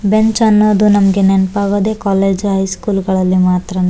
Bench ಅನ್ನೋದು ನಮಗೆ ನೆನ್ಪ್ ಆಗೋದು ಕಾಲೇಜು ಹೈಸ್ಕೂಲ್ ಗಳಲ್ಲಿ ಮಾತ್ರನೇ.